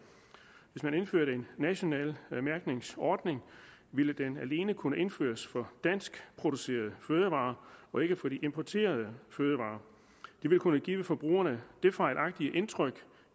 hvis man indførte en national mærkningsordning ville den alene kunne indføres for danskproducerede fødevarer og ikke for de importerede fødevarer det ville kunne give forbrugerne det fejlagtige indtryk